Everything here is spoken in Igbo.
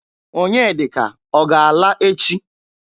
Onyedika ọ ga-ala echi?